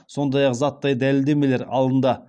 сондай ақ заттай дәлелдемелер алынды